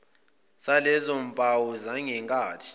salezo mpawu zangenkathi